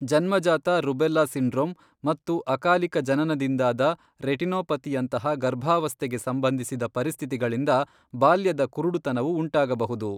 ಜನ್ಮಜಾತ rubella syndrome ಮತ್ತು ಅಕಾಲೀಕ ಜನನದಿಂದಾದ ರೆಟಿನೋಪತಿಯಂತಹ ಗರ್ಭಾವಸ್ಥೆಗೆಸಂಬಂಧಿಸಿದ ಪರಿಸ್ಥಿತಿಗಳಿಂದ ಬಾಲ್ಯದ ಕುರುಡುತನವು ಉಂಟಾಗಬಹುದು.